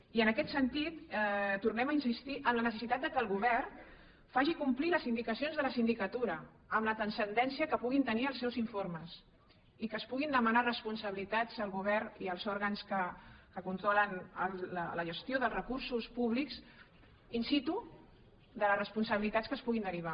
i en aquest sentit tornem a insistir en la necessitat que el govern faci complir les indicacions de la sindicatura amb la transcendència que puguin tenir els seus informes i que es puguin demanar responsabilitats al govern i als òrgans que controlen la gestió dels recursos públics in situ de les responsabilitats que se’n puguin derivar